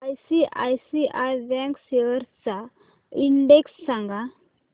ICICI bank shares चा index सांगा